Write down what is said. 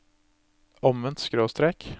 omvendt skråstrek